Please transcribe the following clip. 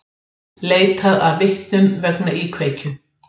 Á laugardeginum var ýmislegt um að vera.